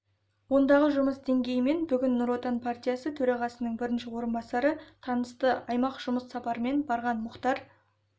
ондағы жұмыс деңгейімен бүгін нұр отан партиясы төрағасының бірінші орынбасары танысты аймаққа жұмыс сапарымен барған мұхтар